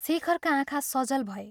" शेखरका आँखा सजल भए।